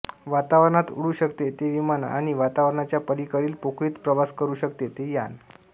वातावरणात अुडू शकते ते विमान आणि वातावरणाच्या पलिकडील पोकळीत प्रवास करू शकते ते यान